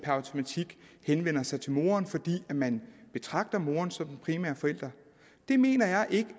automatik henvender sig til moren fordi man betragter moren som den primære forælder det mener jeg ikke